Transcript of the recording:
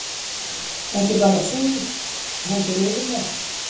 Ekki bara þá, heldur yfirleitt.